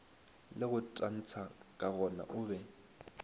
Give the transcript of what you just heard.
le go tantsha kagona obe